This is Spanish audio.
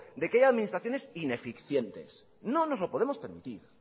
de que haya administraciones ineficientes no nos lo podemos permitir